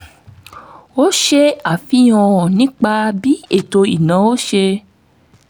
ó ṣe àfihàn nípa bí ètò ìnáwó ṣe